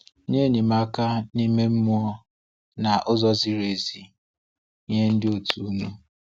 Nye enyemaka na nke ime mmụọ na usoro ziri ezi nye ndị òtù unu.